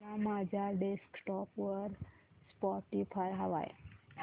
मला माझ्या डेस्कटॉप वर स्पॉटीफाय हवंय